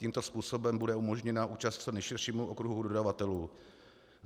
Tímto způsobem bude umožněna účast co nejširšímu okruhu dodavatelů.